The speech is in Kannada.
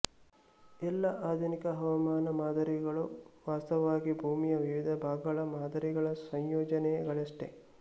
ಎಲ್ಲಾ ಆಧುನಿಕ ಹವಾಮಾನ ಮಾದರಿಗಳು ವಾಸ್ತವವಾಗಿ ಭೂಮಿಯ ವಿವಿಧ ಭಾಗಗಳ ಮಾದರಿಗಳ ಸಂಯೋಜನೆ ಗಳಷ್ಟೇ